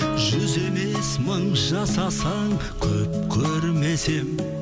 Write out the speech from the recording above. жүз емес мың жасасаң көп көрмес едім